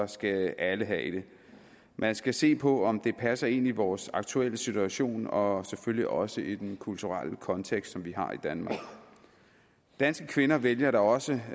skal alle have det man skal se på om det passer ind i vores aktuelle situation og selvfølgelig også i den kulturelle kontekst som vi har i danmark danske kvinder vælger da også